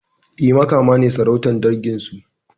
E, Makama ne sarautar dangin su.